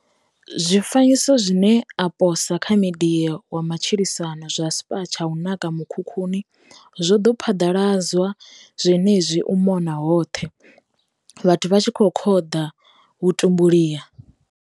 Zwifanyiso zwine a posa kha midia wa matshilisano zwa spa tsha u naka mukhukhuni, zwoḓo phaḓaladzwa zwenezwino u mona hoṱhe, vhathu vha tshi khou khoḓa vhutumbuliha.